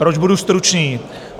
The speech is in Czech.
Proč budu stručný?